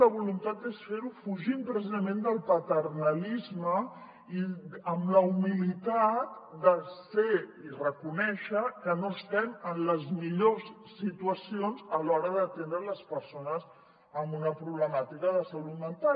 la voluntat és fer ho fugint precisament del paternalisme i amb la humilitat de ser i reconèixer que no estem en les millors situacions a l’hora d’atendre les persones amb una problemàtica de salut mental